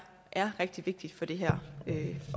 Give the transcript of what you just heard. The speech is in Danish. er rigtig vigtigt for det her